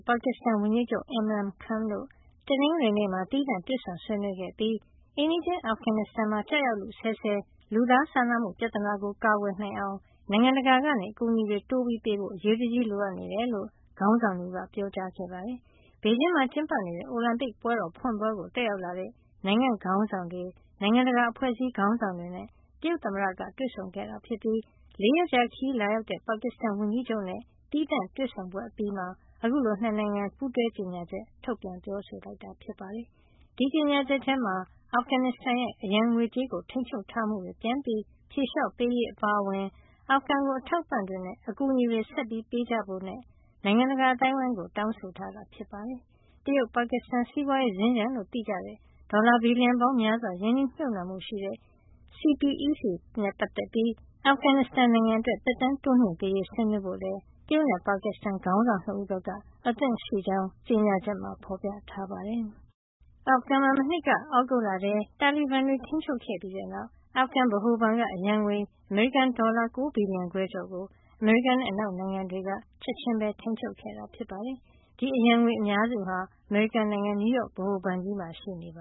ပါကစ္စတန်ဝန်ကြီးချုပ် Imran Khan တို့ တနင်္ဂနွေနေ့မှာ သီးသန့် တွေ့ဆုံဆွေးနွေးခဲ့ပြီး အိမ်နီးချင်း အာဖဂန်နစ္စတန်မှာ ကျရောက်လုဆဲဆဲ လူသားစာနာမှု ပြဿနာကို ကာကွယ်နိုင်အောင် နိုင်ငံတကာက အကူအညီတွေ တိုးပေးဖို့ အရေးတကြီး လိုအပ်နေကြောင်း ခေါင်းဆောင် ၂ ဦးက ပြောကြားခဲ့ပါတယ်။ ဘေဂျင်းမှာ ကျင်းပနေတဲ့ အိုလံပစ်ပွဲတော်ဖွင့်ပွဲကို တက်ရောက်လာတဲ့ နိုင်ငံ့ခေါင်းဆောင်တွေ၊ နိုင်ငံတကာ အဖွဲ့အစည်း ခေါင်းဆောင်တွေနဲ့ တရုတ်သမ္မတက တွေ့ဆုံခဲ့တာဖြစ်ပြီး ၄ ရက်ကြာခရီး လာရောက်တဲ့ ပါကစ္စတန်ဝန်ကြီးချုပ်နဲ့ သီးခြားတွေ့ဆုံပွဲ အပြီးမှာ ခုလို ၂ နိုင်ငံ ပူးတွဲကြေညာချက်ထုတ်ပြန် ပြောဆိုခဲ့တာ ဖြစ်ပါတယ်။ ဒီကြေညာချက်ထဲမှာ အာဖဂန်နစ္စတန်ရဲ့ အရန်ငွေကြေးကို ထိန်းချုပ်ထားမှုတွေ ပြန်ဖြေလျှော့ပေးရေး အပါအဝင် အာဖဂန်ကို အထောက်အပံ့တွေနဲ့ အကူအညီတွေ တိုးမြှင့်ပေးအပ်ကြဖို့ နိုင်ငံတကာ အသိုင်းအဝိုင်းကို တောင်းဆိုထားတာ ဖြစ်ပါတယ်။ တရုတ်-ပါကစ္စတန် စီးပွားရေးစင်္ကြန်လို့ သိကြတဲ့ ဒေါ်လာ ဘီလီယံပေါင်းများစွာ ရင်းနှီးမြှုပ်နှံမှုရှိတဲ့ CPEC နဲ့ ပတ်သက်ပြီး အာဖဂန်နစ္စတန်အတွက် သက်တမ်းတိုးမြှင့်ပေးရေး ဆွေးနွေးဖို့လည်း တရုတ်နဲ့ ပါကစ္စတန် ခေါင်းဆောင် ၂ ဦးဘက်က အသင့်ရှိကြောင်း ကြေညာချက်မှာ ဖော်ပြထားပါတယ်။ အာဖဂန်မှာ မနှစ်က သြဂုတ်လထဲ တာလီဘန်တွေ ထိန်းချုပ်ခဲ့ပြီးတဲ့နောက် အာဖဂန်ဗဟိုဘဏ်က အရန်ငွေ အမေရိကန်ဒေါ်လာ ၉ ဘီလီယံခွဲကျော်ကို အမေရိကန်နဲ့ အနောက်နိုင်ငံတွေက ချက်ချင်းပဲ ထိန်းချုပ်ခဲ့တာ ဖြစ်ပါတယ်။ ဒီအရန်ငွေ အများစုဟာ အမေရိကန်နိုင်ငံ နယူးယောက် ဗဟိုဘဏ်ကြီးမှာ ရှိနေတ